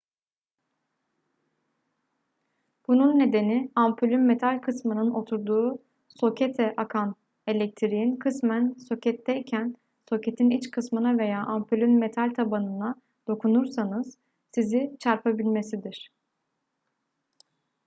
bunun nedeni ampulün metal kısmının oturduğu sokete akan elektriğin kısmen soketteyken soketin iç kısmına veya ampulün metal tabanına dokunursanız sizi çarpabilmesidir